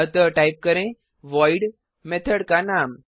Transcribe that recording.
अतः टाइप करें void method का नाम